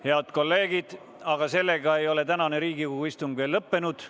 Head kolleegid, aga sellega ei ole tänane Riigikogu istung lõppenud.